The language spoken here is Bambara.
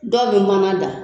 Dɔw be manna da